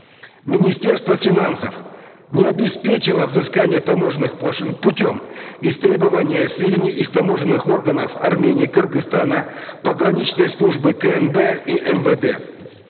министерство финансов не обеспечило взыскание таможенных пошлин путем истребования сведений из таможенных органов армении кыргызстана пограничной службы кнб и мвд